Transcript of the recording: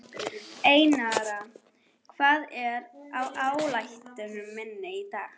Einara, hvað er á áætluninni minni í dag?